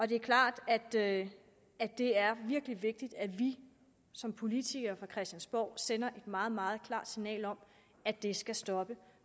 det er klart at det at det er virkelig vigtigt at vi som politikere fra christiansborg sender et meget meget klart signal om at det skal stoppe